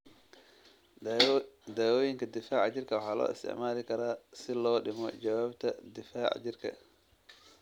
Daawooyinka difaaca jirka waxaa loo isticmaali karaa si loo dhimo jawaabta difaaca jirka.